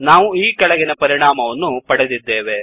ನಾವು ಈ ಕೆಳಗಿನ ಪರಿಣಾಮವನ್ನು ಪಡೆದಿದ್ದೇವೆ